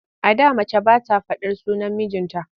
A da mace ba ta faɗar sunan mijinta.